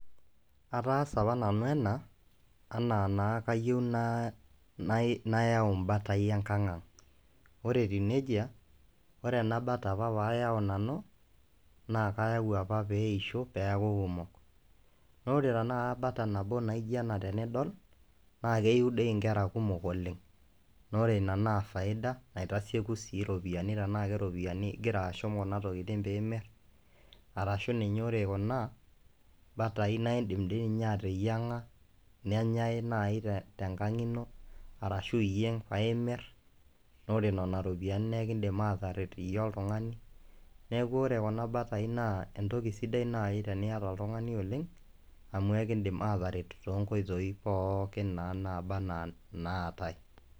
Ataasa apa nanu ena, enaa naa kayieu nayau imbatai enkang ang. Ore etiu nejia, ore ena bata apa payau nanu, naa kayau apa peisho, peeku kumok. Nore tanakata bata nabo naija ena tenidol, naa keyu di inkera kumok oleng. Nore ina naa faida, naitasieku si iropiyiani tenaa keropiyiani igira ashum kuna tokiting piimir, arashu ninye ore kuna batai, naa idim toinye ateyiang'a, nenyai nai tenkang ino, arashu iyieng' paimir, nore nena ropiyiani nekidim ataret iyie oltung'ani, neeku ore kuna batai naa entoki sidai nai teniyata oltung'ani oleng, amu ekidim ataret tonkoitoii pookin naa naba enaa naatae.